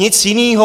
Nic jiného.